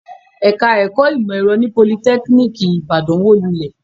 Ẹ̀ka-ẹ̀kọ́ ìmọ̀-ẹ̀rọ ní Politẹ́kíníkì Ìbàdàn wó lulẹ̀.